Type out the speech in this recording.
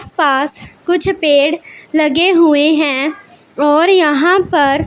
पास कुछ पेड़ लगे हुए हैं और यहां पर--